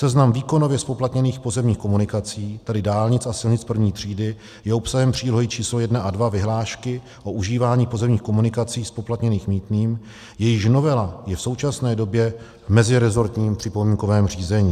Seznam výkonově zpoplatněných pozemních komunikací, tedy dálnic a silnic první třídy, je obsahem přílohy číslo 1 a 2 vyhlášky o užívání pozemních komunikací, zpoplatněných mýtným, jejichž novela je v současné době v meziresortním připomínkovém řízení.